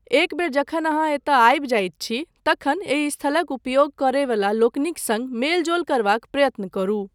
एक बेर जखन अहाँ एतय आबि जाइत छी, तखन एहि स्थलक उपयोग करय वला लोकनिक सङ्ग मेलजोल करबाक प्रयत्न करू।